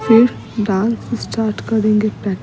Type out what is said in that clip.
फिर स्टार्ट करेंगे।